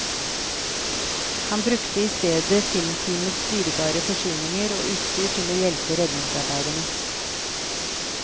Han brukte i stedet filmteamets dyrebare forsyninger og utstyr til å hjelpe redningsarbeiderne.